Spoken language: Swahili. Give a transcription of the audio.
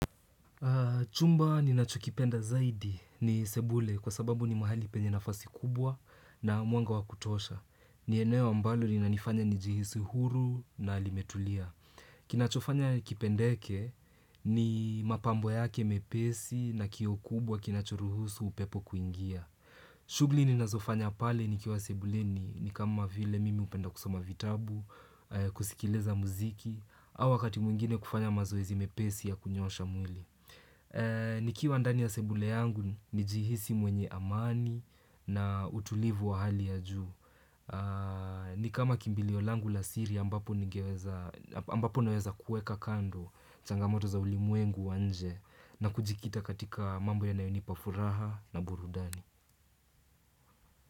Chumba ninachokipenda zaidi ni sebule kwa sababu ni mahali penye nafasi kubwa na mwanga wa kutosha. Ni eneo ambalo linanifanya nijihisu huru na limetulia. Kinachofanya kipendeke ni mapambo yake mepesi na kioo kubwa kinachoruhusu upepo kuingia. Shughuli ninazofanya pale nikiwa sebuleni ni kama vile mimi hupenda kusoma vitabu, kusikiliza muziki, au wakati mwingine kufanya mazoezi mepesi ya kunyosha mwili. Nikiwa ndani ya sebule yangu nijihisi mwenye amani na utulivu wa hali ya juu ni kama kimbilio langu la siri ambapo naweza kueka kando changamoto za ulimwengu wa nje na kujikita katika mambo yanayonipa furaha na burudani.